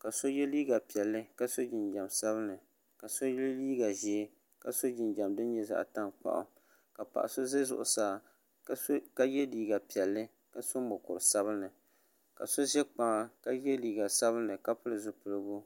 ka so ye liiga piɛlli ka so jinjam sabinli ka so ye liiga ʒee ka so jinjam din nyɛ zaɣ'tankpaɣu ka paɣa so ʒe zuɣusaa ka ye liiga piɛlli ka so mukur'sabinli ka so ʒe kpaŋa ka ye liiga sabinli ka pili zipiligu.